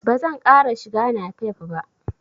Ba zan ƙara shiga napep ba.